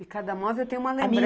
E cada móvel tem uma lembrança.